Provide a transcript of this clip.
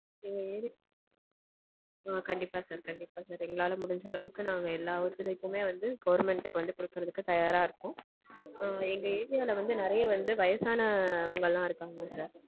எங்க area ஆ கண்டிப்பா sir கண்டிப்பா. எங்களால முடிஞ்ச அளவுக்கு நாங்க எல்லா ஒத்துழைப்புமே government க்கு வந்து கொடுக்கறதுக்கு தயாரா இருக்கோம். ஆஹ் எங்க area ல வந்து வயசானவங்க நெறைய வந்து வயசானவங்கலாம் இருக்காங்க sir.